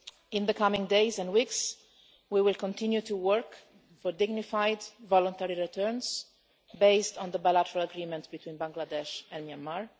In the coming days and weeks, we will continue to work for dignified voluntary returns based on the bilateral agreement between Bangladesh and Myanmar.